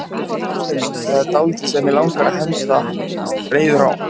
Ástin mín, það er dálítið sem mig langar að henda reiður á.